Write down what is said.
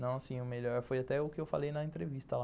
Não assim, o melhor foi até o que eu falei na entrevista lá.